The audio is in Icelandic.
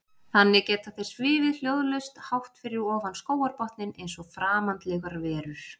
Þannig geta þeir svifið hljóðlaust hátt fyrir ofan skógarbotninn eins og framandlegar verur.